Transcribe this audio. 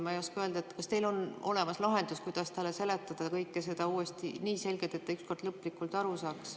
Ma ei oska öelda, kas teil on olemas lahendus, kuidas talle seletada kõike seda uuesti nii selgelt, et ta ükskord lõplikult aru saaks.